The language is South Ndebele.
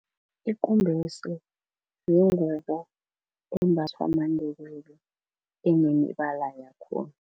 Ikumbese yingubo embathwa maNdebele enemibala yakhona.